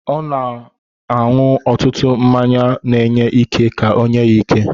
Ọ na-aṅụ ọtụtụ mmanya na-enye ike ka onye ya ike.